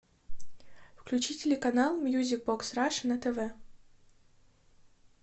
включи телеканал мьюзик бокс раша на тв